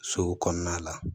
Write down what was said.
So kɔnɔna la